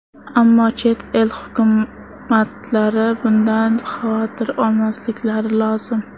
Ammo chet el hukumatlari bundan xavotir olmasliklari lozim.